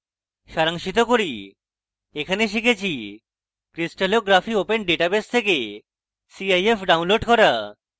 সারাংশিত করি এখানে শিখেছি crystallography open database থেকে cif download করা